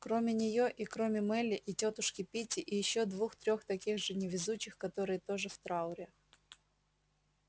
кроме неё и кроме мелли и тётушки питти и ещё двух-трех таких же невезучих которые тоже в трауре